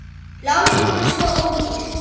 Lánin voru svo ódýr.